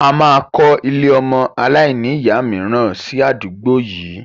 A máa kọ ilé ọmọ aláìníya miran si àdúgbò yìí